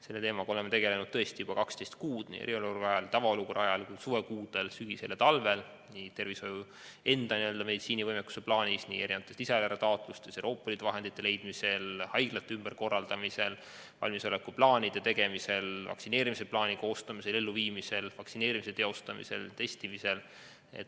Selle teemaga oleme tegelenud tõesti juba 12 kuud, nii eriolukorra ajal, tavaolukorra ajal kui ka suvekuudel, sügisel ja talvel – nii tervishoiu enda meditsiinilise võimekuse plaanis, nii mitmesugustes lisaeelarve taotlustes, Euroopa Liidu vahendite leidmisel, haiglate ümberkorraldamisel, valmisolekuplaanide tegemisel, vaktsineerimisplaani koostamisel ja elluviimisel, vaktsineerimise teostamisel ja testimisel.